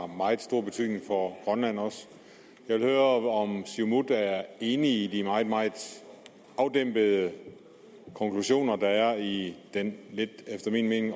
meget stor betydning for grønland og jeg vil høre om siumut er enig i de meget meget afdæmpede konklusioner der er i den efter min mening